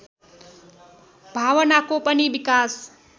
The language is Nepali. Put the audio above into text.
भावनाको पनि विकास